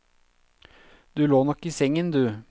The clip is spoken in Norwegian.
Du lå nok i sengen, du.